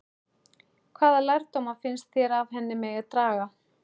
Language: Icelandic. Hvaða lærdóma finnst þér af henni megi draga?